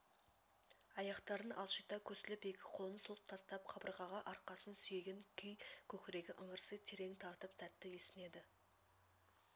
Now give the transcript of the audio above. аяқтарын алшита көсіліп екі қолын сұлқ тастап қабырғаға арқасын сүйеген күй көкірегі ыңырси терең тартып тәтті есінеді